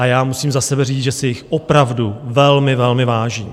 A já musím za sebe říct, že si jich opravdu velmi, velmi vážím.